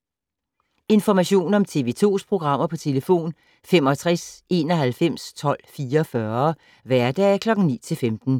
Information om TV 2's programmer: 65 91 12 44, hverdage 9-15.